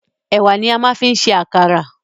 Ẹ̀wà ni a máa ń fi ń ṣe àkàrà